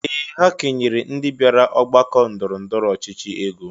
Ee! Ha kenyere ndị bịara ọgbakọ ndọrọ ndọrọ ọchịchị ego.